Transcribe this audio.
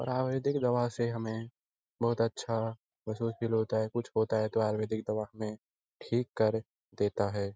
आयुर्वेदिक दवा से हमें बहुत अच्छा महसूस फ़ील होता है कुछ होता है तो हमें ठीक कर देता है।